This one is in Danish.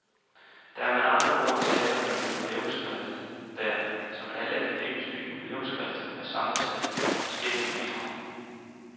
Der er med andre ord tale om et jubilæumsskrift, der, som alle akademiske jubilæumsskrifter, er sammensat af forskellige bidrag.